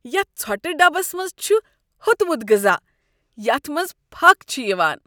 یتھ ژھوٹہٕ ڈبس منٛز چھ ہوٚتمٖت غذا یتھ منٛز پھكھ چھٖ یوان۔